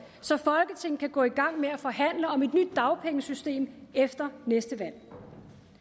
så folketinget kan gå igang med at forhandle om et nyt dagpengesystem efter næste valg